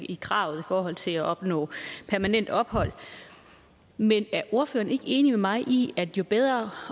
i kravet i forhold til at opnå permanent ophold men er ordføreren ikke enig med mig i at jo bedre